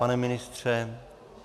Pane ministře?